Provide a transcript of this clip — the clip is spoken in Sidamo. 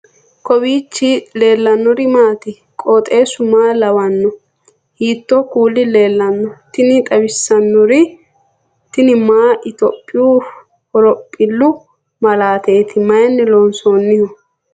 kowiicho leellannori maati ? qooxeessu maa lawaanno ? hiitoo kuuli leellanno ? tini xawissannori tini mayi ethiopiyu horophillu malaateeti mayinni loonsoonniho